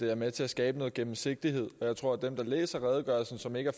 er med til at skabe noget gennemsigtighed jeg tror at dem der læser redegørelsen og som ikke